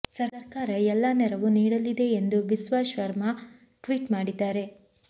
ಸರ್ಕಾರ ಎಲ್ಲಾ ನೆರವು ನೀಡಲಿದೆ ಎಂದು ಬಿಸ್ವಾ ಶರ್ಮಾ ಟ್ವೀಟ್ ಮಾಡಿದ್ದಾರೆ